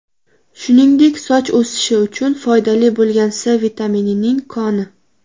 Shuningdek, soch o‘sishi uchun foydali bo‘lgan C vitaminining koni.